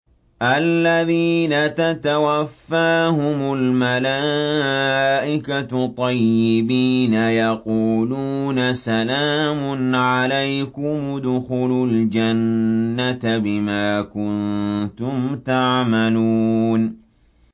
الَّذِينَ تَتَوَفَّاهُمُ الْمَلَائِكَةُ طَيِّبِينَ ۙ يَقُولُونَ سَلَامٌ عَلَيْكُمُ ادْخُلُوا الْجَنَّةَ بِمَا كُنتُمْ تَعْمَلُونَ